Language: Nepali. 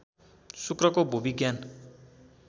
शुक्रको भूविज्ञान